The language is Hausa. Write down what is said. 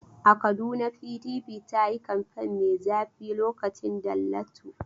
A Kaduna PDP ta yi kamfen mai zafi lokacin Dallatu.